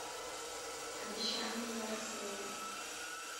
обещание на рассвете